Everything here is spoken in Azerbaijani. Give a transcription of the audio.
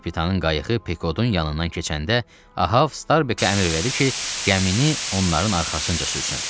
Kapitanın qayığı Pekodun yanından keçəndə Ahav Starbekə əmr elədi ki, gəmini onların arxasınca sürsün.